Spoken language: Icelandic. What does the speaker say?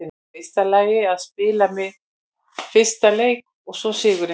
Í fyrsta lagi að spila minn fyrsta leik og svo sigurinn.